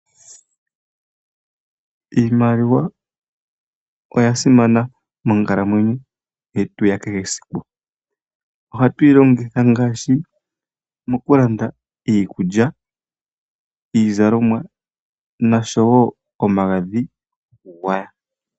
Iimaliwa oyasimana monkalamwenyo yetu ya kehe esiku, ohatu yi longitha ngaashi omokulanda iikulya, iizalomwa noshowo omagadhi gokugwaya.